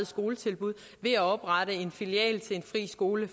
skoletilbud ved at oprette en filial til en friskole